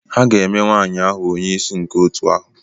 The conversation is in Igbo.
Ha ga-eme nwaanyị ahụ onyeisi nke otu ahụ.